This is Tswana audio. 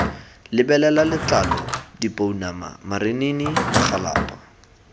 lebelela letlalo dipounama marinini magalapa